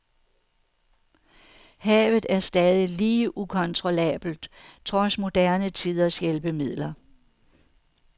Havet er stadig lige ukontrollabelt trods moderne tiders hjælpemidler.